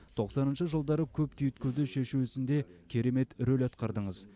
тоқсаныншы жылдары көп түйткілді шешу ісінде керемет рөл атқардыңыз